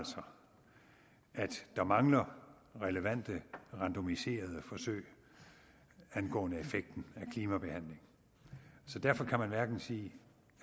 der mangler relevante randomiserede forsøg angående effekten af klimabehandling så derfor kan man hverken sige